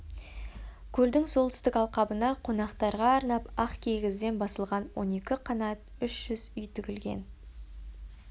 көлдің солтүстік алқабына қонақтарға арнап ақ кигізден басылған он екі қанат үш жүз үй тігілген